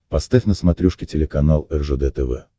поставь на смотрешке телеканал ржд тв